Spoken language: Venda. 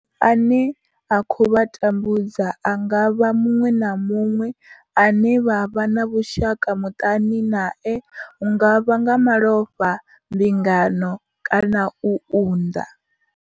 Ane a khou vha tambudza a nga vha muṅwe na muṅwe ane vha vha na vhushaka muṱani nae hu nga vha nga malofha, mbingano kana u unḓa.